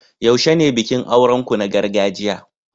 yaushe ne bikin auren ku na gargajiya?